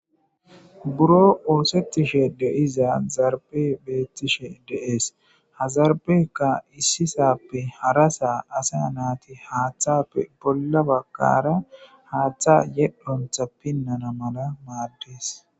Boro oosetishe de'iza zariphey bettishe de'es ha zaripheyikka issisappe harasa asa natti jaaththappe bolla baggara haaththan yedhontta piinana mala maaddes